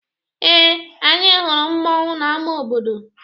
Ee, anyị hụrụ mmọnwụ n'ama obodo.